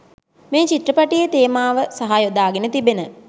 මේ චිත්‍රපටියේ තේමාව සහ යොදාගෙන තිබෙන